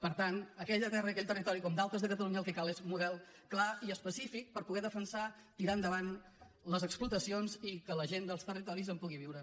per tant a aquella terra i aquell territori com d’altres el que cal és un model clar i específic per poder defensar tirar endavant les explotacions i que la gent dels territoris en pugui viure